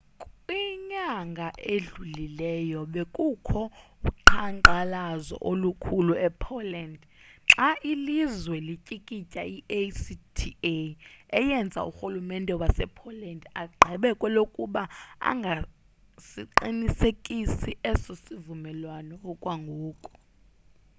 kwinyanga edlulileyo bekukho uqhankqalazo olukhulu e-poland xa ilizwe lityikitya i-acta eyenze urhululmente wase-poland agqibe kwelukuba angasiqinisekisi eso sivumelwano okwangoku